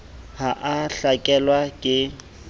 ha a a hlakelwa ke